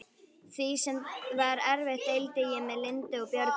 Því sem var eftir deildi ég með Lindu og Björgu.